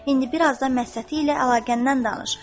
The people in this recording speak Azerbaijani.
İndi biraz da Məstəti ilə əlaqəndən danış.